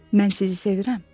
Mən sizi sevirəm?